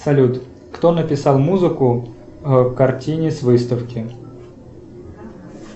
салют кто написал музыку к картине с выставки